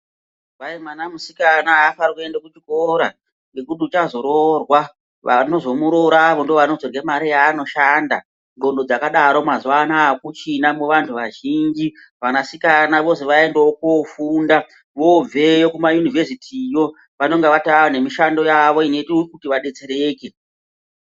Kwai mwana musikana a faniri kuenda ku chikora ngekuti uchazo rorwa vanozo muroravo ndo vanozorye mari yavano shanda ndxondo dzakadaro mazuva anaya akuchina mu vantu vazhinji vana sikana vozi vaendeyaiwo ko funda vobveyo kuma univhesiti yo vanenge vane mishando yavo inoita kuti va detsereke.